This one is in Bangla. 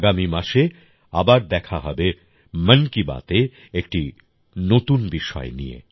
আগামী মাসে আবার দেখা হবে মন কি বাতএ একটি নতুন বিষয় নিয়ে